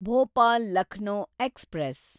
Bhopal Lucknow express